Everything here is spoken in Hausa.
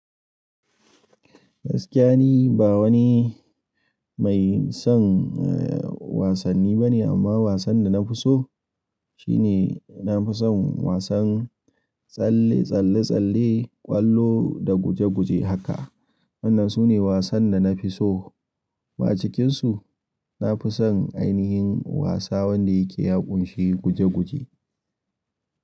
Gaskiya ni ba wani mai son eh wasanni bane amma wasan da na fi so shine na fi son wasan tsalle-tsalle-tsalle, ƙwallo da guje-guje haka. Wannan su ne wasan da na fi so. Wa cikin su, na fi son ainihin wasa wanda yake yaƙunshi guje-guje.